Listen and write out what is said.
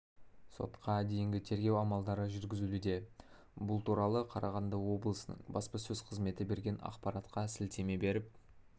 сотқа дейінгі тергеу амалдары жүргізілуде бұл туралы қарағанды облысының баспасөз қызметі берген ақпаратқа сілтеме беріп